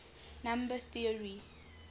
number theory